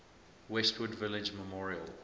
westwood village memorial